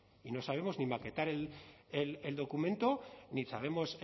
y no sabemos ni maquetar el documento ni sabemos